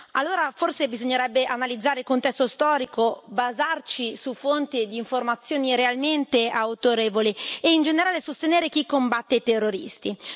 Allora forse bisognerebbe analizzare il contesto storico, basarci su fonti e informazioni realmente autorevoli e, in generale, sostenere chi combatte i terroristi.